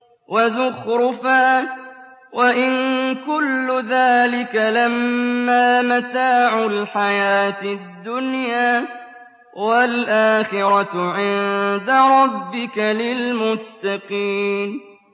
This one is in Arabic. وَزُخْرُفًا ۚ وَإِن كُلُّ ذَٰلِكَ لَمَّا مَتَاعُ الْحَيَاةِ الدُّنْيَا ۚ وَالْآخِرَةُ عِندَ رَبِّكَ لِلْمُتَّقِينَ